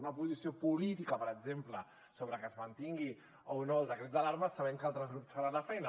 una posició política per exemple sobre que es mantingui o no el decret d’alarma sabent que altres grups faran la feina